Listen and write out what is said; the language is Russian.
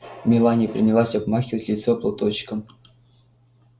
мелани принялась обмахивать лицо платочком